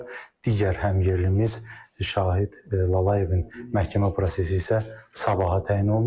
Digər həmyerlimiz Şahid Lalayevin məhkəmə prosesi isə sabaha təyin olunub.